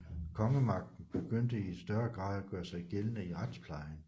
Kongemagten begyndte i større grad at gøre sig gældende i retsplejen